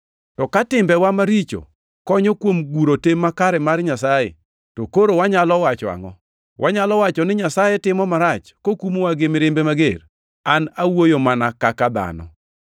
To ka timbewa maricho konyo kuom guro tim makare mar Nyasaye, to koro wanyalo wacho angʼo? Wanyalo wacho ni Nyasaye timo marach kokumowa gi mirimbe mager? (An awuoyo mana kaka dhano.)